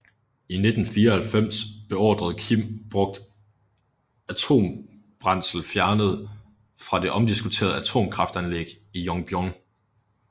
I 1994 beordrede Kim brugt atombrændsel fjernet fra det omdiskuterede atomkraftanlæg i Yongbyon